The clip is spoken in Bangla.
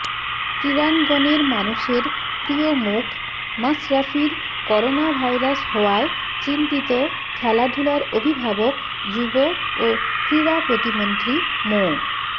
ক্রীড়াঙ্গনের মানুষের প্রিয়মুখ মাশরাফির করোনাভাইরাস হওয়ায় চিন্তিত খেলাধুলার অভিভাবক যুব ও ক্রীড়া প্রতিমন্ত্রী মো